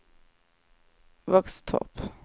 Våxtorp